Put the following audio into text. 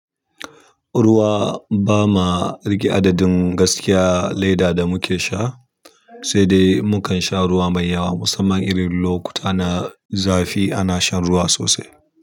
Ruwa ba ma rage adadin gaskiya leda da muke sha, sai dai mukan sha ruwa mai yawa musamman irin lokuta na zafi ana shan ruwa sosai.